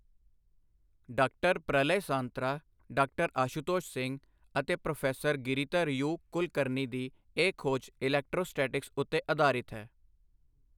ਡਾ.ਪ੍ਰਲਯ ਸਾਂਤਰਾ, ਡਾ.ਆਸ਼ੂਤੋਸ਼ ਸਿੰਘ ਅਤੇ pro. Giridhar you. Kulkarni ਦੀ ਇਹ ਖੋਜ ਇਲੈਕਟ੍ਰੌਸਟਾਟਿਕਸ ਉੱਤੇ ਅਧਾਰਿਤ ਹੈ।